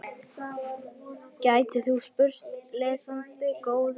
gætir þú spurt, lesandi góður.